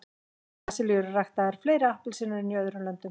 í brasilíu eru ræktaðar fleiri appelsínur en í öðrum löndum